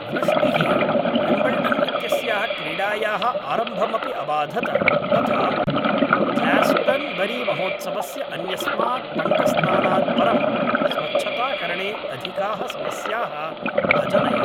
वृष्टिः विम्बल्डन् इत्यस्याः क्रीडायाः आरम्भमपि अबाधत तथा ग्लास्टन्बरीमहोत्सवस्य अन्यस्मात् पङ्कस्नानात् परं स्वच्छताकरणे अधिकाः समस्याः अजनयत्